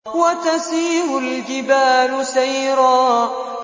وَتَسِيرُ الْجِبَالُ سَيْرًا